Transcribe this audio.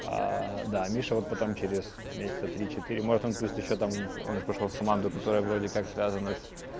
да миша вот потом через месяца три четыре может он плюс ещё там он же пошёл в команду которая вроде как связана с